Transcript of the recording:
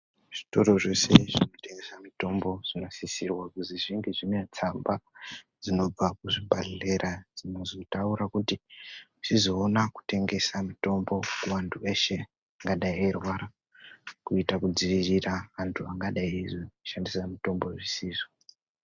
Zvitoro zveshe zvinotengesa mitombo , zvinosisirwa kuzi zvinge zvine tsamba dzinobva kuzvibhadhleya dzinozotaura kuti zvizoona kutengesa mitombo kuvantu eshe angadai eirwara kuita kudziirira antu angadai eizoshandisa mitombo zvisizvo.